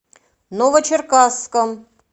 новочеркасском